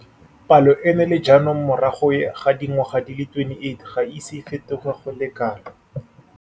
Palo eno le jaanong morago ga dingwaga di le 28 ga e ise e fetoge go le kalo.